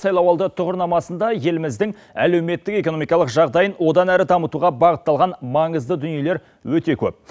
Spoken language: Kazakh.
сайлауалды тұғырнамасында еліміздің әлеуметтік экономикалық жағдайын одан әрі дамытуға бағыталған маңызды дүниелер өте көп